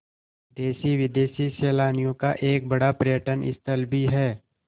देशी विदेशी सैलानियों का एक बड़ा पर्यटन स्थल भी है